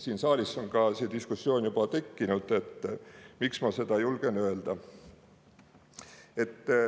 Siin saalis on ka see diskussioon juba tekkinud, seetõttu ma seda julgen öelda.